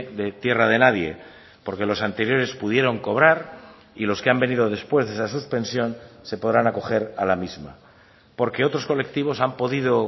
de tierra de nadie porque los anteriores pudieron cobrar y los que han venido después de esa suspensión se podrán acoger a la misma porque otros colectivos han podido